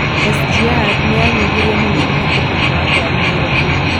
SGR nĩyanyihirie mũno mũhatĩkano wa ngaari Nairobi